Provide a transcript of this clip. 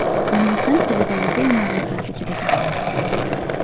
Uning hind tilidagi filmlar ro‘yxati juda katta.